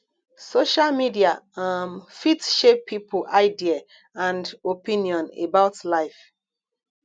social media um fit shape pipo idea and opinion about life